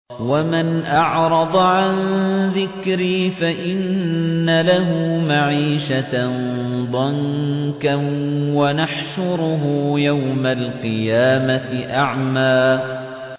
وَمَنْ أَعْرَضَ عَن ذِكْرِي فَإِنَّ لَهُ مَعِيشَةً ضَنكًا وَنَحْشُرُهُ يَوْمَ الْقِيَامَةِ أَعْمَىٰ